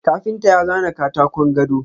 Kafinta ya zana katakon gado.